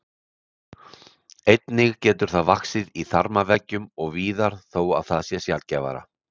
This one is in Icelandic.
Einnig getur það vaxið í þarmaveggjum og víðar þó að það sé sjaldgæfara.